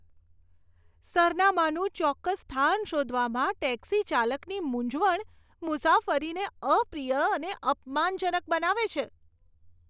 સરનામાનું ચોક્કસ સ્થાન શોધવામાં ટેક્સીચાલકની મૂંઝવણ મુસાફરીને અપ્રિય અને અપમાનજનક બનાવે છે.